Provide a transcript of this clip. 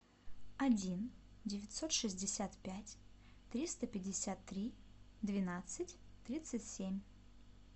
один девятьсот шестьдесят пять триста пятьдесят три двенадцать тридцать семь